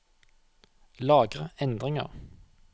Lagre endringer